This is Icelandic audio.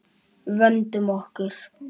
Vöndum okkur.